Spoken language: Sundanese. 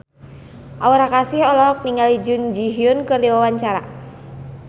Aura Kasih olohok ningali Jun Ji Hyun keur diwawancara